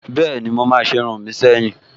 Bẹ́ẹ̀ni, mo máa se irun mi seyin